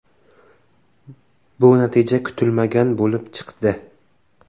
Bu natija kutilmagan bo‘lib chiqdi.